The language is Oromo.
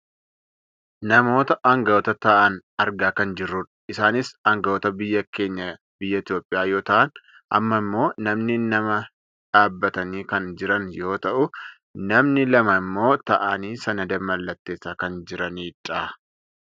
Namoota anga'oota ta'an argaa kan jirrudha. Isaanis anga'oota biyya keenya biyya Itoophiyaa yoo ta'an amma ammoo namni nama dhaabbatanii kan jiran yoo ta'u namni lama ammoo taa'aanii sanada mallatteessaa kan jiranidha.